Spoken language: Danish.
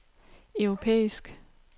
europæisk